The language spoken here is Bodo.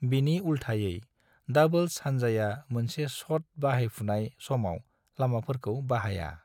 बिनि उल्थायै, डाबल्स हानजाया मोनसे शट बाहायफुनाय समाव लामाफोरखौ बाहाया।